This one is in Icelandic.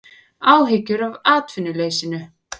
Áhyggjur af atvinnuleysinu